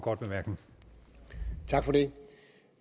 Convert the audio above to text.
det